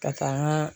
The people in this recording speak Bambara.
Ka taa n ka